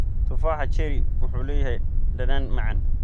Tufaaxa cherry wuxuu leeyahay dhadhan macaan.